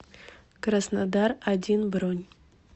краснодар один бронь